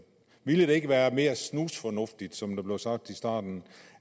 ville det ikke være mere snusfornuftigt som der blev sagt i starten